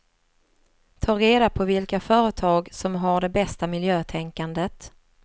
Ta reda på vilka företag som har det bästa miljötänkandet.